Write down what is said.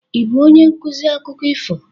Ị bụ onye nkuzi akụkọ ifo?